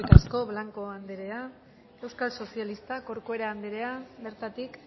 eskerrik asko blanco anderea euskal sozialistak corcuera anderea bertatik